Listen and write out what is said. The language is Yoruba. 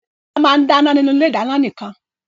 Bọ́lá máa ń dáná nínú ilé-ìdáná nìkan.